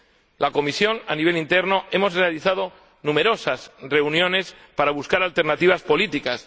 En la comisión, a nivel interno, hemos realizado numerosas reuniones para buscar alternativas políticas.